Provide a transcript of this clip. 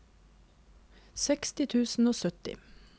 seksti tusen og sytti